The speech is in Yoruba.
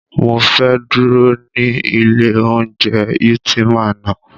Mọ fẹ́ dúró ní ilé oúnjẹ Ultima ná.